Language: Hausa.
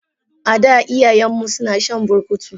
Ada iyayenmu suna shan burkutu.